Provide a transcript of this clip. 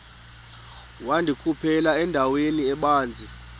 wandikhuphela endaweni ebanzi